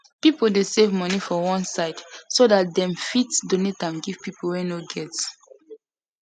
people dey save money for one side so that them fit donate am give people wey no get